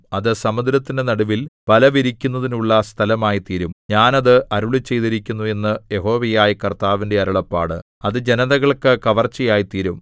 അത് സമുദ്രത്തിന്റെ നടുവിൽ വലവിരിക്കുന്നതിനുള്ള സ്ഥലമായിത്തീരും ഞാൻ അത് അരുളിച്ചെയ്തിരിക്കുന്നു എന്ന് യഹോവയായ കർത്താവിന്റെ അരുളപ്പാട് അത് ജനതകൾക്കു കവർച്ചയായിത്തീരും